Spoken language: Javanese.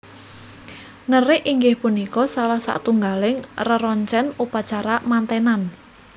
Ngerik inggih punika salah satunggaling reroncen upacara mantenan